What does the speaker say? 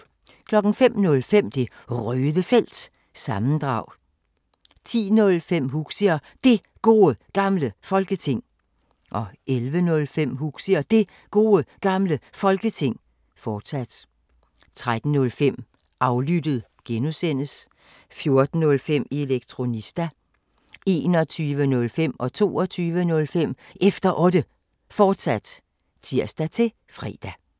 05:05: Det Røde Felt – sammendrag 10:05: Huxi og Det Gode Gamle Folketing 11:05: Huxi og Det Gode Gamle Folketing, fortsat 13:05: Aflyttet (G) 14:05: Elektronista (G) 21:05: Efter Otte, fortsat (tir-fre) 22:05: Efter Otte, fortsat (tir-fre)